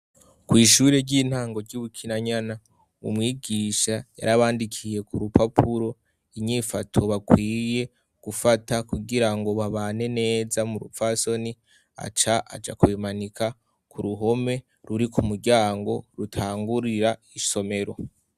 kw'ishuri ry'intango ry'ubukinanyana umwigisha yarabandikiye ku rupapuro inyifato bakwiye gufata kugira ngo babane neza mu rupfasoni aca aja kubimanika ku ruhome ruri ku muryango rutangurira isomero